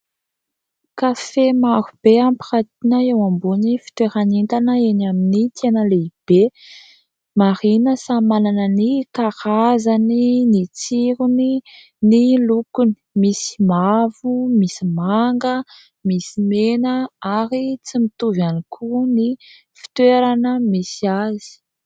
Kafe maro be ampirantiana eo ambony fitoeran'entana eny amin'ny tsena lehibe. Marihina samy manana ny karazany ny tsirony, ny lokony. Misy mavo, misy manga, misy mena ary tsy mitovy ihany koa ny fitoerana misy azy.